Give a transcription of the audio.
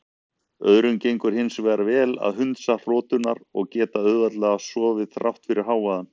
Öðrum gengur hins vegar vel að hundsa hroturnar og geta auðveldlega sofið þrátt fyrir hávaðann.